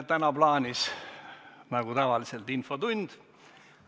Nagu tavaliselt, on meil täna plaanis infotund.